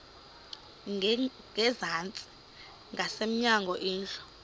ngasezantsi ngasemnyango indlu